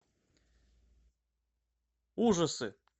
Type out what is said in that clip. ужасы